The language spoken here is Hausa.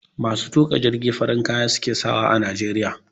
Masu tuƙa jirgi farin kaya suke sawa a najeriya